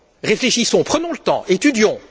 Réfléchissons, prenons le temps, étudions....